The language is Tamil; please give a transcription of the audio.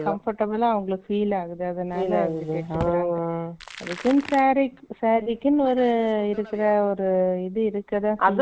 Comfortable ஆ அவங்களுக்கு feel ஆகுது. அதனால